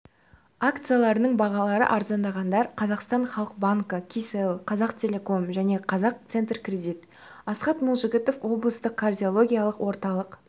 акцияларының бағалары арзандағандар қазақстан халық банкі кселл қазақтелеком және банк центркредит асхат молжігітов облыстық кардиологиялық орталық